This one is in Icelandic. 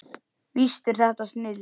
Víst er þetta snilld.